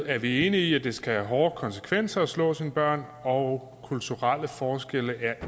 er vi enige i at det skal have hårde konsekvenser at slå sine børn og kulturelle forskelle